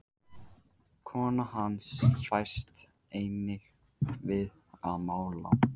Kona hans fæst einnig við að mála.